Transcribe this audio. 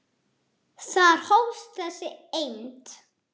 Þar hófst þessi eymd.